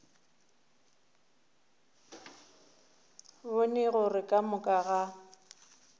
bone gore ka moka ga